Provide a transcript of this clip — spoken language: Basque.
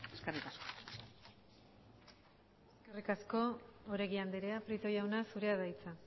eskerrik asko eskerrik asko oregi andrea prieto jauna zurea da hitza